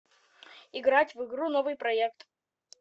играть в игру новыйпроект